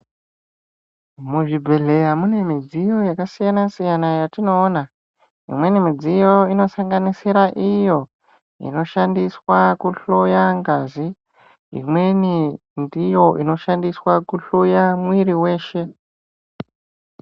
Mu zvibhedhleya mune midziyo yaka siyana siyana yatino ona imweni midziyo ino sanganisira iyo ino shandiswa ku hloya ngazi imweni ndiyo inoshandiswa ku hloya mwiri weshe.